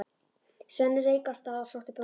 Svenni rauk af stað og sótti brókina.